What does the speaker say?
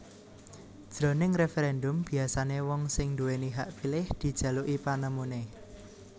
Jroning referendum biasané wong sing nduwèni hak pilih dijaluki panemuné